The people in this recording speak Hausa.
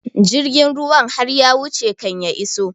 Jirgin ruwan har ya wuce kan ya iso